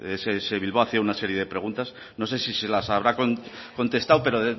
de ess bilbao hacía una serie de preguntas no sé si se las habrá contestado pero